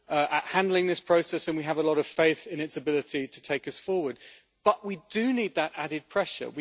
at handling this process and we have a lot of faith in its ability to take us forward, but we do need that added pressure.